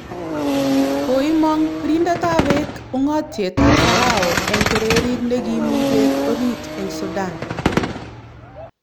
Koimong birindetab beek ung'otietab Pharaoh eng kererit ne kimi bek orit eng Sudan